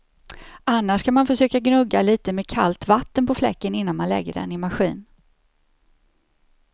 Annars kan man försöka gnugga lite med kallt vatten på fläcken innan man lägger den i maskin.